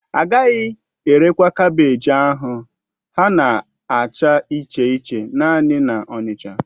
Agaghị erekwa kaabéji ahụ ha na-acha iche iche naanị na Onicha